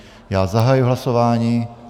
Já zahajuji hlasování.